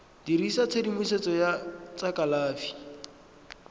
dirisa tshedimosetso ya tsa kalafi